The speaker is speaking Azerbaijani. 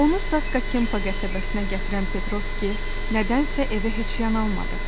Onu Saska Kempa qəsəbəsinə gətirən Petrovski nədənsə evə heç yanalmadı.